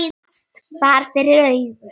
En margt bar fyrir augu.